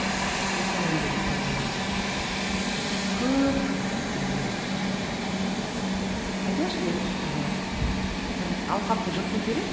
мысалы андай ыыы бір көп бір ііі айтайықшы андай бір ііі бір алқапты жырту керек